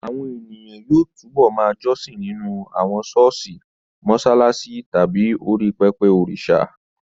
Àwọn ènìyàn yóò túbọ̀ ma jọ́sìn nínú àwọn ṣọ́ọ̀ṣì, mọṣáláṣí tàbí orí pẹpẹ òrìṣà